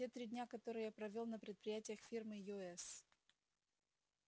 те три дня которые я провёл на предприятиях фирмы юэс